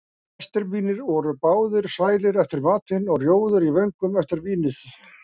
Gestir mínir voru báðir sælir eftir matinn og rjóðir í vöngum eftir vínið.